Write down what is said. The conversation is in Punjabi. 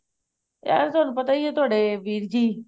ਯਾ ਤੁਹਾਨੂੰ ਪਤਾ ਹੀ ਹੈ ਤੁਹਾਡੇ ਵੀਰ ਜੀ